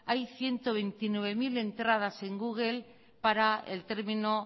hay ciento veintinueve mil entradas en google para el término